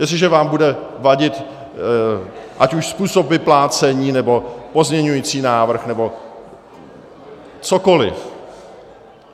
Jestliže vám bude vadit ať už způsob vyplácení, nebo pozměňovací návrh, nebo cokoli.